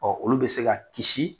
Ɔ olu bɛ se ka kisii